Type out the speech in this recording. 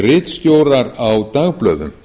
ritstjórar á dagblöðum